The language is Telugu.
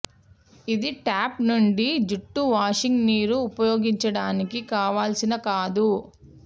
ఇది ట్యాప్ నుండి జుట్టు వాషింగ్ నీరు ఉపయోగించడానికి కావాల్సిన కాదు